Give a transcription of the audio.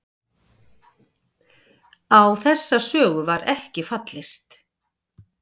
Á þessa sögu var ekki fallist